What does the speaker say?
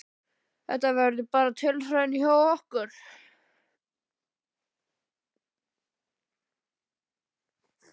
Þetta verður bara tilraun hjá okkur.